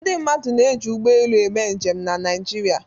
Ndị mmadụ na-eji ụgbọelu eme njem na Naịjirịa.